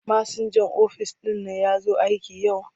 Masinjan ofis ɗin nan ya zo aiki yau?